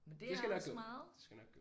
Men det er også meget